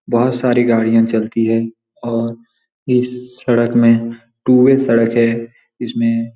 बहुत सारी गाड़ियाँ चलती हैं और इस सड़क में टू वे सड़क है इसमें --